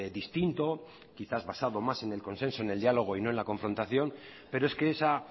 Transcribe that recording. distinto quizás basado más en el consenso y en el diálogo y no en la confrontación pero es que esa